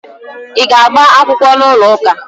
Ị ga-agba akwụkwọ n'ụlọụka?